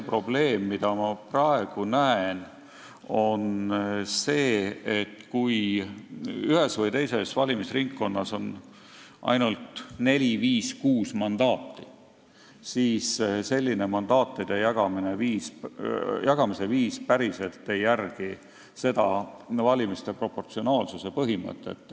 Probleem, mida ma praegu näen, on see, et kui ühes või teises valimisringkonnas on ainult 4, 5 või 6 mandaati, siis selline mandaatide jagamise viis päriselt ei järgi valimiste proportsionaalsuse põhimõtet.